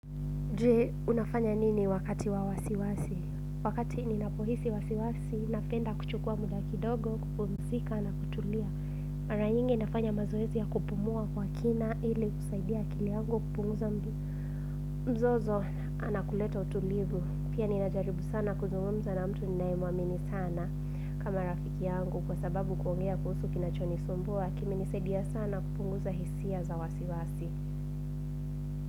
Je, unafanya nini wakati wa wasiwasi? Wakati ninapohisi wasiwasi, napenda kuchukua muda kidogo, kupumzika na kutulia. Mara nyingi nafanya mazoezi ya kupumua kwa kina ili kusaidia akili yangu kupunguza mdundo. Mzozo, na kuleta utulivu. Pia ninajaribu sana kuzungumza na mtu ninayemwamini sana kama rafiki yangu. Kwa sababu kuongea kuhusu kinachonisumbua, kiminisedia sana kupunguza hisia za wasiwasi.